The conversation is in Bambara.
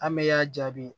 An bɛ y'a jaabi